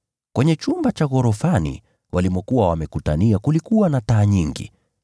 Kwenye chumba cha ghorofani walimokuwa wamekutania kulikuwa na taa nyingi.